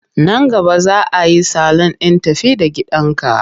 Nan gaba za a yi salun ɗin tafi-da-gidanka.